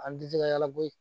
An ti jija yala bo yen